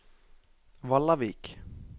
Vallavik